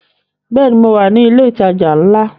Bẹ́ẹ̀ni, mo wà ní ilẹ̀ ìtajà ńlá